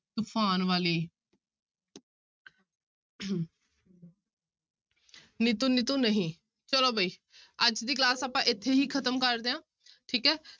ਤੂਫ਼ਾਨ ਵਾਲੀ ਨੀਤੂ ਨੀਤੂ ਨਹੀਂ, ਚਲੋ ਬਾਈ ਅੱਜ ਦੀ class ਆਪਾਂ ਇੱਥੇ ਹੀ ਖ਼ਤਮ ਕਰਦੇ ਹਾਂ ਠੀਕ ਹੈ।